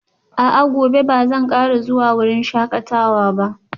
A'a, gobe ba zan kara zuwa wurin shakatawa ba